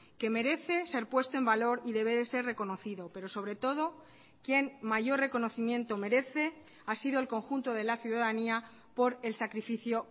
que merece ser puesto en valor y debe de ser reconocido pero sobre todo quien mayor reconocimiento merece ha sido el conjunto de la ciudadanía por el sacrificio